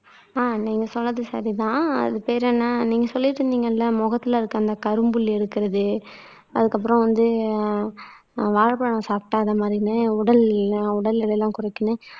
அஹ் நீங்க சொன்னது சரிதான் அது பேர் என்ன நீங்க சொல்லிட்டு இருந்தீங்கல்ல முகத்துல இருக்கிற அந்த கரும்புள்ளி இருக்கிறது அதுக்கப்புறம் வந்து வாழைப்பழம் சாப்பிடாத மாதிரின்னு உடல் உடல்எடை எல்லாம் குறைக்கும்ன்னு